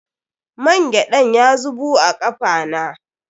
Mangyaɗan ya zubu a kafa na.